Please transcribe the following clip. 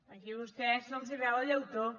aquí a vostès se’ls veu el llautó